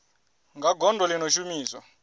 kha gondo ḽi no shumiswa